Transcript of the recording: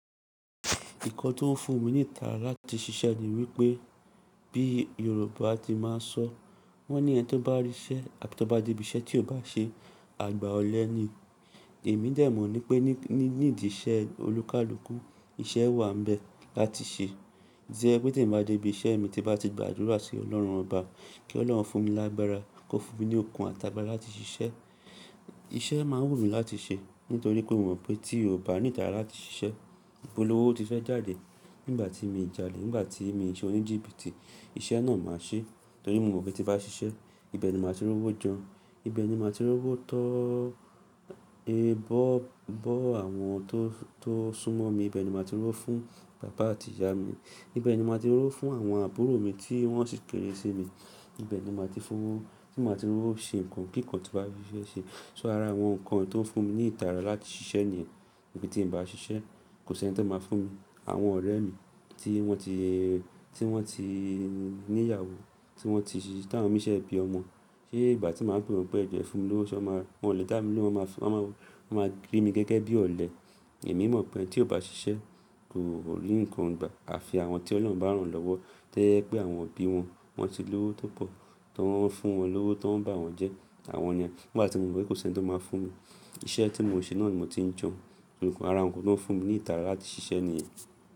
Ìkọ́ tó ń fún mi ní ìtara láti ṣiṣẹ́ ni wípé bí Yorùbá ti máa ń sọ wọ́n ní ẹni tó bá rí iṣẹ́ a tó bá dé ibi iṣẹ́ tí ò bá ṣe, àgbà ọ̀lẹ ni. Èmi dẹ̀ mọ̀ ní pé ní, ní ìdí iṣẹ́ olúkálúkú iṣẹ́ wà n bẹ́ láti ṣe. Tí ẹmi ba bá dé ibi iṣẹ́ mi tí bá ti gbàdúrà sí Ọlọ́run Ọba kí Ọlọ́run fún mi lágbára kó fún mi ní okun àti àgbàra láti ṣiṣẹ́. Iṣẹ́ máa wù mí láti ṣe nítorí pé mo mọ̀ pé tí ò bá ní ìtara láti ṣiṣẹ́, ìpolówó ti fẹ́ jáde. Nígbà tí mì jále, nígbà tí mì ṣe oníjìbìtì iṣẹ́ náà màá ṣe torí mo mọ̀ pé tí bá ṣiṣẹ́ ibẹ̀ ni màá ti rówó jẹun, ibẹ̀ ni màá ti rówó tọ è bọ́, bọ́ àwọn tó, tó súnmọ́ mi, ibẹ̀ ni màá ti rówó fún bàbá àti ìyá mi, ibẹ̀ ni màá ti rówó fún àwọn àbúrò mi tí wọ́n sì kéré sí mi, ibẹ̀ ni màá ti fún, tí màá ti rówó ṣe nǹkan kí nǹkan tí bá fẹ́ ṣe. So ara àwọn nǹkan tó ń fún mi ní ìtara láti ṣiṣẹ́ nìyẹn. Níbi tí n bá ṣiṣẹ́ kò sí ẹni tó máa fún mi. Àwọn ọ̀rẹ́ mi tí wọ́n ti, tí wọ́n ti ní ìyàwó, tí wọ́n ti tán mi sẹ́ bí ọmọ, ṣé ìgbà tí màá ń pè wọ́n pé jẹ fún mi lówó ṣé wọ́n máa, wọn lè dá mi lóhùn máa fún, wọ́n máa, wọ́n máa rí mi gẹ́gẹ́ bí ọ̀lẹ. Èmi mọ̀ pé eni tí ò bá ṣiṣẹ́ kò rí nǹkan gbà. Àfi àwọn tí Ọlọ́run bá rán lọ́wọ́ tó yẹ pé àwọn òbí wọn wọ́n ti lówó tó pọ̀ tó ń fún wọn lówó tó ń bá wọn jẹ́ àwọn ni. Nígbà tí mo mọ̀ pé kò sí ẹni tó máa fún mi, iṣẹ́ tí mò ṣe náà ni mò ti ń je. Nìkan ara nǹkan tó ń fún mi ní ìtara láti ṣiṣẹ́ nìyẹn.